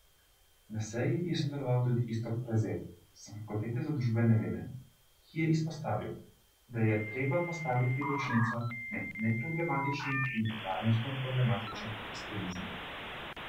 Na seji je sodeloval tudi Iztok Prezelj s fakultete za družbene vede, ki je izpostavil, da je treba postaviti ločnico med neproblematičnim in varnostno problematičnim ekstremizmom.